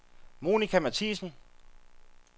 Monica Mathiesen